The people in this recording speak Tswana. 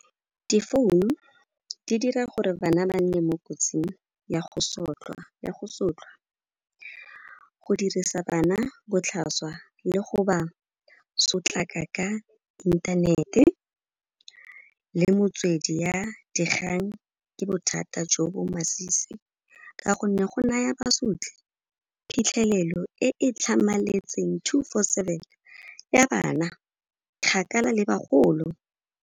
Di-phone, di dira gore bana ba nne mo kotsing ya go sotlhwa, go dirisa bana botlhaswa le go ba sotlaka ka inthanete le motswedi ya dikgang ke bothata jo bo masisi ka gonne go naya basotli phitlhelelo e e tlhamaletseng, two four seven ya bana kgakala le bagolo.